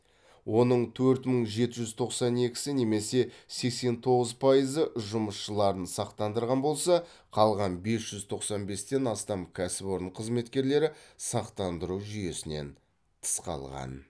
оның төрт мың жеті жүз тоқсан екісі немесе сексен тоғыз пайызы жұмысшыларын сақтандырған болса қалған бес жүз тоқсан бестен астам кәсіпорын қызметкерлері сақтандыру жүйесінен тыс қалған